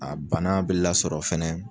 A bana bɛ lasɔrɔ fɛnɛ